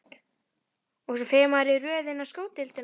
Og svo fer maður í röð inn á sko deildina.